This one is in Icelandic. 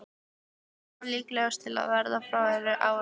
Reykjavík var líklegust til að verða fyrir árs.